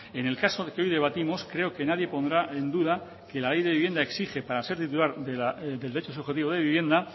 en el caso que hoy debatimos creo que nadie pondrá en duda que la ley de vivienda exige para ser titular del derecho subjetivo de vivienda